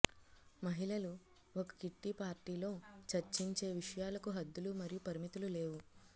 మహిళలు ఒక కిట్టి పార్టీలో చర్చించే విషయాలకు హద్దులు మరియు పరిమితులు లేవు